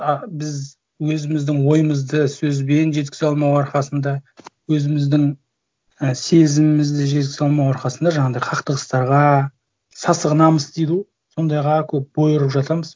ы біз өзіміздің ойымызды сөзбен жеткізе алмау арқасында өзіміздің і сезімімізді жеткізе алмау арқасында жаңағындай қақтығыстарға сасық намыс дейді ғой сондайға көп бой ұрып жатамыз